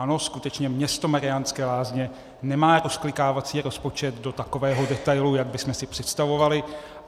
Ano, skutečně město Mariánské Lázně nemá rozklikávací rozpočet do takového detailu, jak bychom si představovali.